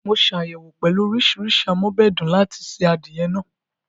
Mo ṣàyẹ̀wò pẹ̀lú oríṣiríṣi am'ọ́bẹ̀dùn láti se adìẹ náà